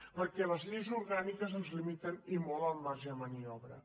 perquè les lleis orgàniques ens limiten i molt el marge de maniobra